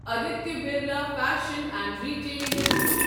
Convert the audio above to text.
Aditya Birla Fashion and Retail limited